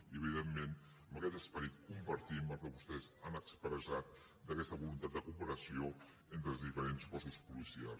i evidentment amb aquest esperit compartim el que vostès han expressat d’aquesta voluntat de cooperació entre els diferents cossos policials